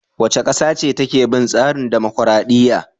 Wace ƙasa ce take bin tsarin dumukuradiyya?